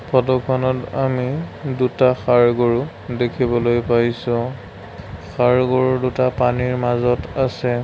ফটোখনত আমি দুটা সাৰ গৰু দেখিবলৈ পাইছোঁ সাৰ গৰু দুটা পানীৰ মাজত আছে।